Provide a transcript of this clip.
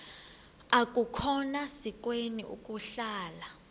akukhona sikweni ukuhlala